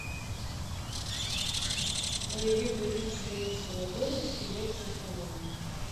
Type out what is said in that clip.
боевик две тысячи двенадцатого года с сильвестром сталлоне